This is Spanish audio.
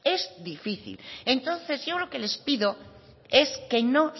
es difícil entonces yo lo que les pido es que no